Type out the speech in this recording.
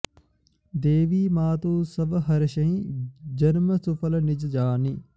देखि मातु सब हरषीं जन्म सुफल निज जानि